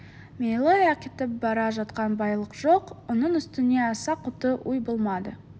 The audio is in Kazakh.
мейлі әкетіп бара жатқан байлық жоқ оның үстіне аса құтты үй болмады